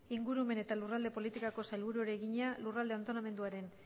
ingurumen eta lurralde politikako sailburuari egina lurralde antolamenduaren